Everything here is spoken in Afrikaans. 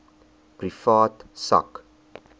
privaat sak